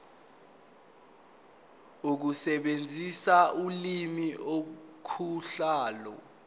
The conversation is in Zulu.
ukusebenzisa ulimi ukuhlola